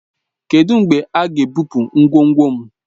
Kedụ mgbe a ga-ebupu ngwongwo m?